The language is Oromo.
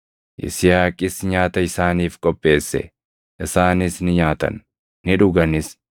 Yisihaaqis nyaata isaaniif qopheesse; isaanis ni nyaatan; ni dhuganis.